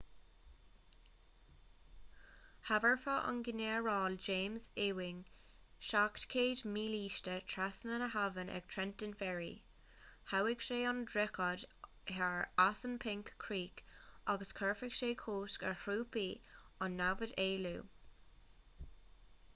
thabharfadh an ginearál james ewing 700 mílíste trasna na habhann ag trenton ferry ghabhfadh sé an droichead thar assunpink creek agus chuirfeadh sé cosc ar thrúpaí an namhad éalú